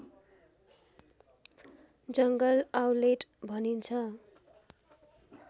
जङ्गल आउलेट भनिन्छ